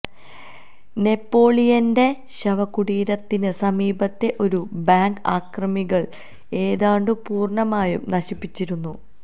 നെപ്പോളിയന്റെ ശവകൂടീരത്തിന് സമീപത്തെ ഒരു ബാങ്ക് ആക്രമികള് ഏതാണ്ട് പൂര്ണമായും നശിപ്പിച്ചിരുന്നു